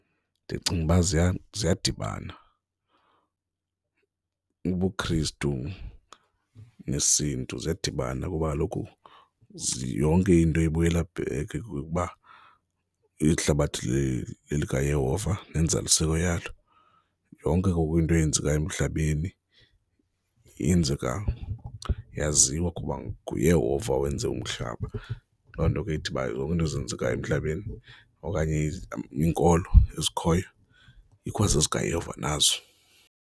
Ndicinga uba ziyadibana, ubuKristu nesiNtu ziyadibana kuba kaloku yonke into ibuyela back kuba ihlabathi lelikaYehova nenzaliseko yalo, yonke ke ngoku into eyenzekayo emhlabeni yenzeka yaziwa kuba nguYehova owenze umhlaba. Loo nto ke ithi uba zonke izinto ezenzekayo emhlabeni okanye iinkolo ezikhoyo ikwazezikaYehova nazo.